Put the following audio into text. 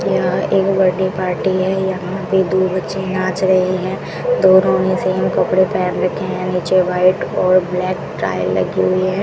यहां एक birthday party है यहां पे दो बच्चे नाच रहे हैं दोनों ने सेम कपड़े पहन रखे हैं नीचे वाइट और ब्लैक टाई लगी हुई है।